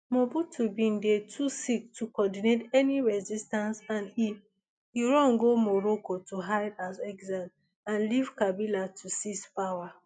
mobutu bin dey too sick to coordinate any resistance and e e run go morocco to hide as exile and leave kabila to seize power